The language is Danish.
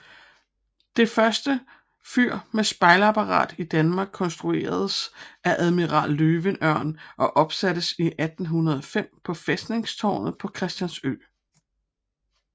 Det første fyr med spejlapparat i Danmark konstrueredes af admiral Løvenørn og opsattes 1805 på fæstningstårnet på Christiansø